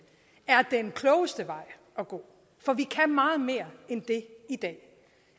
er den klogeste vej at gå for vi kan meget mere end det i dag